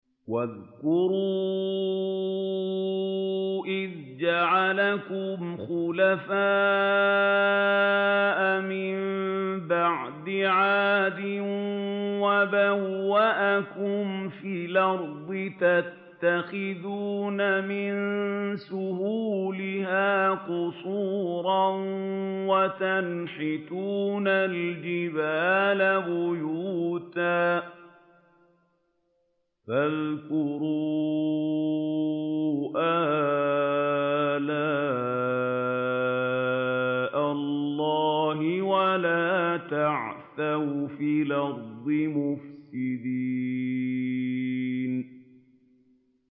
وَاذْكُرُوا إِذْ جَعَلَكُمْ خُلَفَاءَ مِن بَعْدِ عَادٍ وَبَوَّأَكُمْ فِي الْأَرْضِ تَتَّخِذُونَ مِن سُهُولِهَا قُصُورًا وَتَنْحِتُونَ الْجِبَالَ بُيُوتًا ۖ فَاذْكُرُوا آلَاءَ اللَّهِ وَلَا تَعْثَوْا فِي الْأَرْضِ مُفْسِدِينَ